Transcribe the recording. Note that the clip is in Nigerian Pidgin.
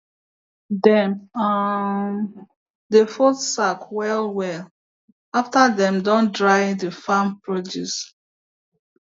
dem um dey fold sack well well after dem don dry the farm produce